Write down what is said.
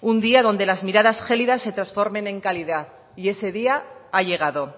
un día donde las miradas gélidas se transformen en cálidas y ese día ha llegado